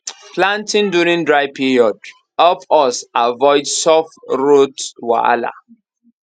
planting during dry planting during dry period help us avoid soft rot wahala